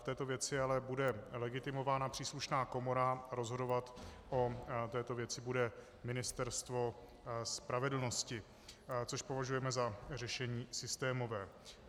V této věci ale bude legitimována příslušná komora, rozhodovat o této věci bude Ministerstvo spravedlnosti, což považujeme za řešení systémové.